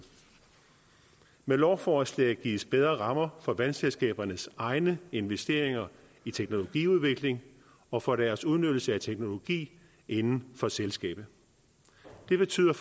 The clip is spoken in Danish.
med lovforslaget gives bedre rammer for vandselskabernes egne investeringer i teknologiudvikling og for deres udnyttelse af teknologi inden for selskabet det betyder